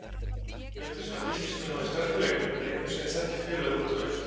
Auk þess hafa Fylkismenn náð í sterka leikmenn, leikmenn sem þekkja félagið út og inn.